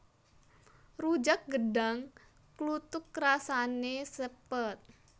Rujak gedhang kluthuk rasané sepet